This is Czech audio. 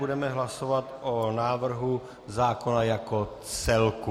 Budeme hlasovat o návrhu zákona jako celku.